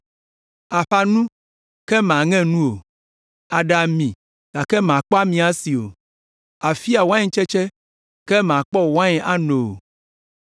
Àƒã nu, ke màŋe nu o; àɖa ami, gake màkpɔ ami asi o; àfia waintsetse, ke màkpɔ wain ano o.